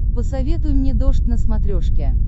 посоветуй мне дождь на смотрешке